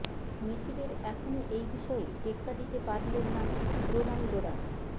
মেসিদের এখনও এই বিষয়ে টেক্কা দিতে পারলেন না রোনাল্ডোরা